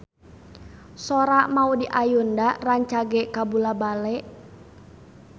Sora Maudy Ayunda rancage kabula-bale